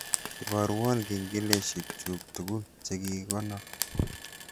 Ibarwon kengeleshek chuuk tugul chegigikonor